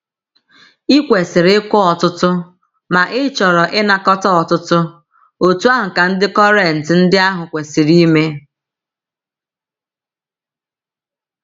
I kwesịrị ịkụ ọtụtụ ma ịchọrọ ịnakọta ọtụtụ, otú ahụ ka ndị Kọrịnt ndị ahụ kwesiri ime.